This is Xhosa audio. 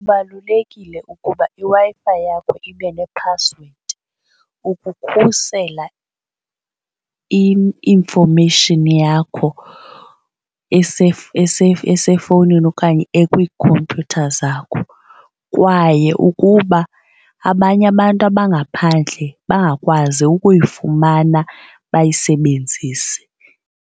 Kubalulekile ukuba iWi-Fi yakho ibe nephasiwedi ukukhusela i-information yakho esefowunini okanye ekwiikhompyutha zakho kwaye ukuba abanye abantu abangaphandle bangakwazi ukuyifumana bayisebenzise.